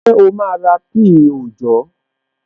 Ṣé o máa ra píì òòjọ́?